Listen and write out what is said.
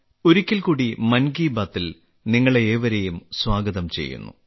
ഒരിക്കൽ കൂടി മൻ കി ബാത്തിൽ നിങ്ങളെ ഏവരെയും സ്വാഗതം ചെയ്യുന്നു